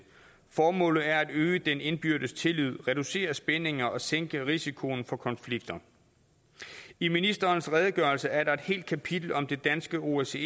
formålet er at øge den indbyrdes tillid reducere spændinger og sænke risikoen for konflikter i ministerens redegørelse er der et helt kapitel om det danske osce